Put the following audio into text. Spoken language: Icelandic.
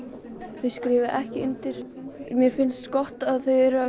þau skrifuðu ekki undir mér finnst gott að þau eru að